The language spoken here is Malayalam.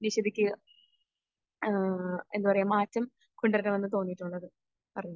നിഷിദക്ക് ഏഹ് എന്താ പറയാ മാറ്റം കൊണ്ട് വരണമെന്ന് തോന്നിയിട്ടുള്ളത്? പറഞ്ഞോ.